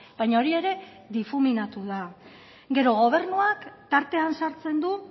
baina hori ere difuminatu da gero gobernuak tartean sartzen du